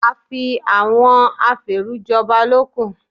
Àfi àwọn afèèrú jọba ló kù.